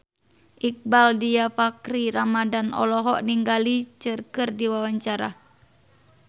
Iqbaal Dhiafakhri Ramadhan olohok ningali Cher keur diwawancara